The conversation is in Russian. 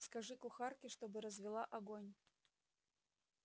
скажи кухарке чтобы развела огонь